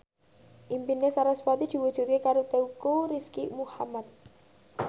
impine sarasvati diwujudke karo Teuku Rizky Muhammad